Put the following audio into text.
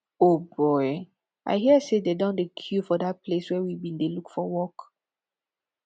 o boy i hear say dey don dey queue for dat place we bin dey look for work